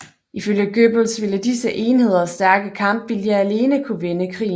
Ifølge Goebbels ville disse enheders stærke kampvilje alene kunne vende krigen